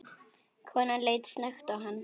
Konan leit snöggt á hann.